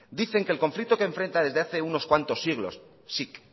dicen que el conflicto que enfrenta desde hace unos cuantos siglos sic